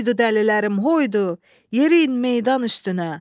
Hoydu dəlilərim, hoydu, yeriyin meydan üstünə.